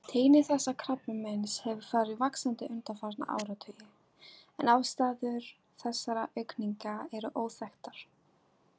Tíðni þessa krabbameins hefur farið vaxandi undanfarna áratugi en ástæður þessarar aukningar eru óþekktar.